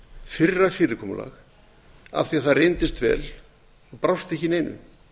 fyrra fyrirkomulag af því að það reyndist vel og brást ekki í neinu